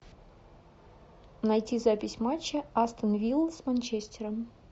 найти запись матча астон виллы с манчестером